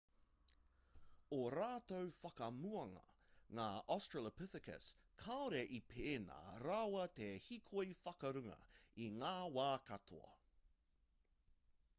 ō rātou whakamuanga ngā australopithecus kāore i pēnā rawa te hīkoi whakarunga i ngā wā katoa